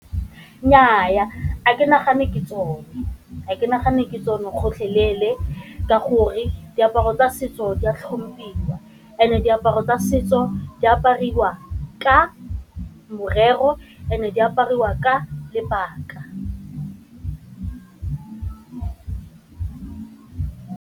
Nnyaa, ga ke nagane ke tsone ga ke nagane ke tsone gotlhelele ka gore diaparo tsa setso di a tlhomphiwa, and-e diaparo tsa setso di apariwa ka morero and-e di apariwa ka lebaka.